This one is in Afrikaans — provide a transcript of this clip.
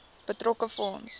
betrokke fonds